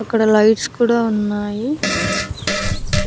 ఇక్కడ లైట్స్ కూడా ఉన్నాయి.